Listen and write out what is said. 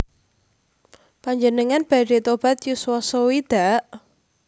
Panjenengan badhe tobat yuswa sewidak?